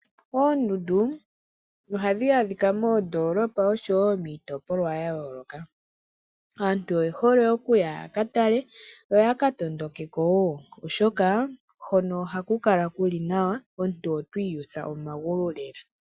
Oondundu ohadhi adhika moondoolopa oshowo miitopolwa ya yooloka. Aantu oye hole okuya ya katale yo ya ka tondokeko wo oshoka, hono ohaku kala kuli nawa omuntu oto iyutha momagulu lela.